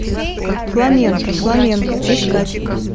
фламенко фламенко искать